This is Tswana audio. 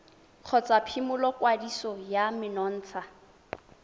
kgotsa phimola kwadiso ya menontsha